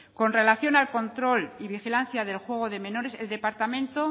con relación al control y vigilancia del juego de menores el departamento